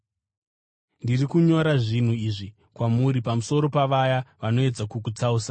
Ndiri kunyora zvinhu izvi kwamuri pamusoro pavaya vanoedza kukutsausai.